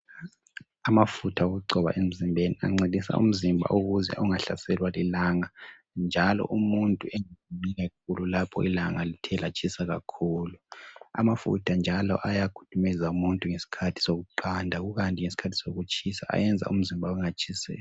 Amafutha okugcoba emzimbeni ancedisa umzimba ukuze ungahlaselwa lilanga njalo umuntu engami kakhulu lapho ilanga lithe latshisa kakhulu. Amafutha njalo ayakhudumeza umuntu ngesikhathi sokuqanda kukanti ngesikhathi sokutshisa ayenza umzimba ungatshiselwa.